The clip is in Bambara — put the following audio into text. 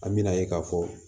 An bɛna ye k'a fɔ